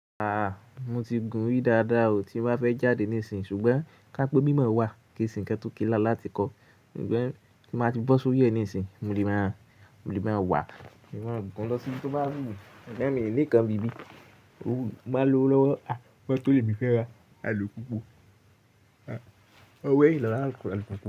A a! Mo ti gùn rí dáadáa o tí mo bá fẹ́ jáde nísìnyí ṣùgbọ́n ká pé mímọ wà kí ìsìn kan tó kílà láti kọ. On tí mo ti bọ́ sórí ẹ nísinsìnyí mo lè máa, mo lè máa wà, mo lè máa gùn lọ sí ibi tí ó bá wù mí. Sugbọ́n mi ní kan ibi bí ó máa lo lọ́wọ́. A! Moto le mi fẹ́ ra àlùpùpù. A! Ó wé ìlọlá àlùpùpù.